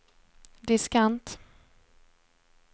diskant